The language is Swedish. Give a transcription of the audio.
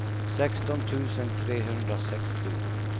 sexton tusen trehundrasextio